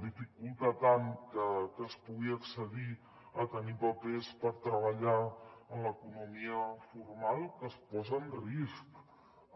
dificulta tant que es pugui accedir a tenir papers per treballar en l’economia formal que es posa en risc